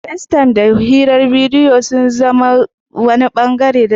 Facetime da hirar bidiyo sun zama wani ɓangare na mu'amalar zamantakewa a Abuja.